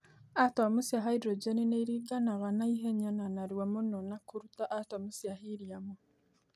Atomũ cĩa haĩdrojenĩ nĩ ĩrĩnganaga na hĩnya na narũa mũno na kũrũta atomũ cĩa heliumu